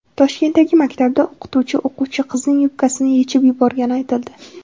Toshkentdagi maktabda o‘qituvchi o‘quvchi qizning yubkasini yechib yuborgani aytildi.